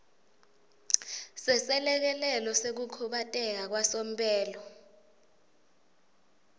seselekelelo sekukhubateka kwasomphelo